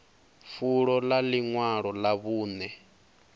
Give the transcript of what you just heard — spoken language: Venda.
fulo ḽa ḽiṅwalo ḽa vhuṅe